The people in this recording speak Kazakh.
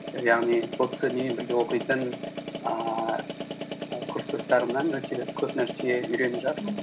яғни осы менімен бірге оқитын ііі курстастарымнан өте көп нәрсе үйреніп жатырмын